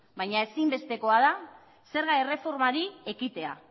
baina ezin bestekoa da zerga erreformari ekitea